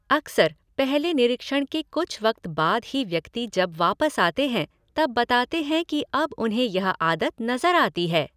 अक्सर, पहले निरीक्षण के कुछ वक़्त बाद ही व्यक्ति जब वापस आते हैं तब बताते हैं की अब उन्हें यह आदत नज़र आती है।